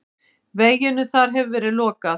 Veginum þar hefur verið lokað.